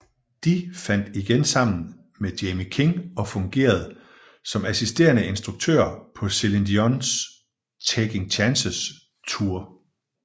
De fandt igen sammen med Jamie King og fungerede som assisterende instruktører på Celine Dions Taking Chances Tour